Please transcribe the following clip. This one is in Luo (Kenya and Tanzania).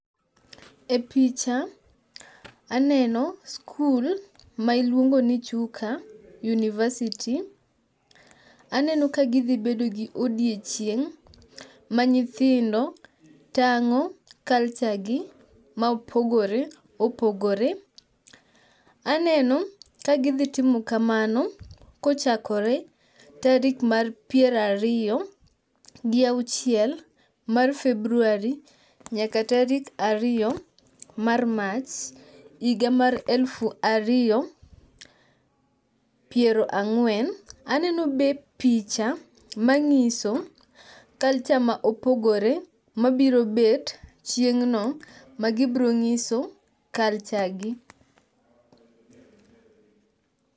E picha aneno skul ma iluongoni Chuka university. Aneno ka gidhibedo gi odiochieng' ma nyithindo tang'o culture gi maopogore opogore. Aneno kagidhi timo kamano kochakore tarik mar pierariyo gi auchiel mar February nyaka tarik ariyo mar March iga mar elfu ariyo piero ang'wen. Aneno be picha mang'iso culture ma opogore ma birobet chieng'no ma gibrong'iso culture gi.